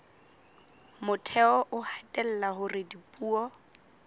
motheo o hatella hore dipuo